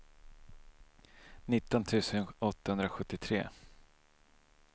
nitton tusen åttahundrasjuttiotre